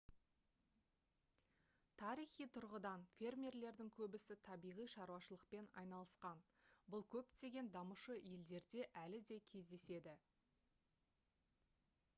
тарихи тұрғыдан фермерлердің көбісі табиғи шаруашылықпен айналысқан бұл көптеген дамушы елдерде әлі де кездеседі